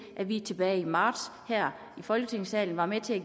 at vi tilbage i marts her i folketingssalen var med til at